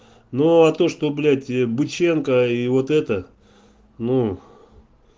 нуу а то что блять быченко и вот это ну